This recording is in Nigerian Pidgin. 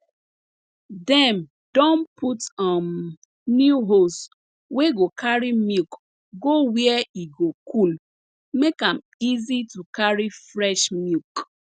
dem don put um new hose wey go carry milk go where e go cool make am easy to carry fresh milk